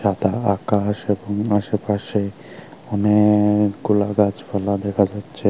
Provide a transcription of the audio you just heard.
এটা আকাশ এবং আশেপাশে অনেকগুলা গাছপালা দেখা যাচ্ছে।